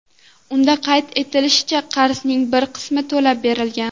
Unda qayd etilishicha, qarzning bir qismi to‘lab berilgan.